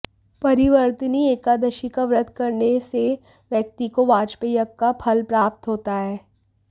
परिवर्तिनी एकादशी का व्रत करने से व्यक्ति को वाजपेय यज्ञ का फल प्राप्त होता है